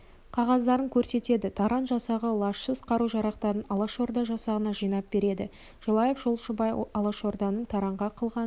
қағаздарын көрсетеді таран жасағы лажсыз қару-жарақтарын алашорда жасағына жинап береді желаев жолшыбай алашорданың таранға қылғанын